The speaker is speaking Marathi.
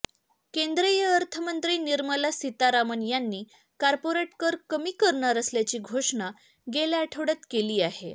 केंद्रीय अर्थमंत्री निर्मला सिमारामन यांनी कॉर्पोरेट कर कमी करणार असल्याची घोषणा गेल्या आठवडय़ात केली आहे